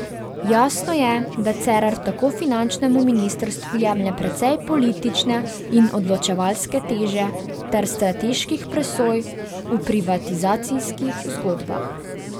Jasno je, da Cerar tako finančnemu ministrstvu jemlje precej politične in odločevalske teže ter strateških presoj v privatizacijskih zgodbah.